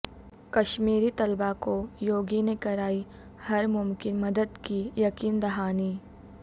کشمیری طلبہ کو یوگی نےکرائی ہرممکن مددکی یقین دہانی